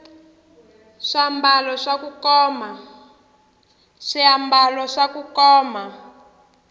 swambalo swa kukoma